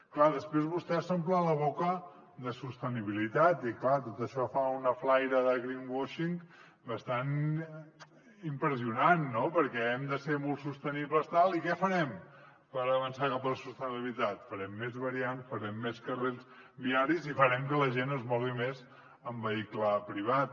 clar després vostès s’omplen la boca de sostenibilitat i clar tot això fa una flaire de greenwashing bastant impressionant no perquè hem de ser molt sostenibles tal i què farem per avançar cap a la sostenibilitat farem més variants farem més carrils viaris i farem que la gent es mogui més en vehicle privat